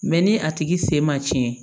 Mɛ ni a tigi sen ma cɛn